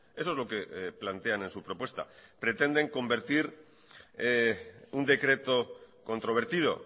eso es lo que plantean en su propuesta pretenden convertir un decreto controvertido